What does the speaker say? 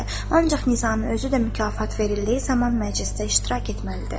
Ancaq Nizami özü də mükafat verildiyi zaman məclisdə iştirak etməlidir.